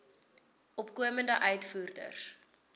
opkomende uitvoerders